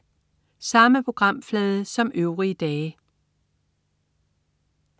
Samme programflade som øvrige dage